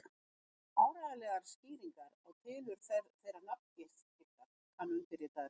Áreiðanlegar skýringar á tilurð þeirrar nafngiftar kann undirritaður ekki.